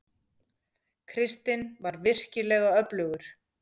Kristinn var virkilega öflugur.